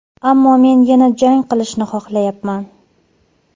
Ammo men yana jang qilishni xohlayapman.